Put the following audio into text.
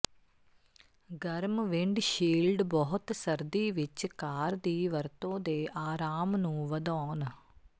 ਗਰਮ ਵਿੰਡਸ਼ੀਲਡ ਬਹੁਤ ਸਰਦੀ ਵਿੱਚ ਕਾਰ ਦੀ ਵਰਤੋ ਦੇ ਆਰਾਮ ਨੂੰ ਵਧਾਉਣ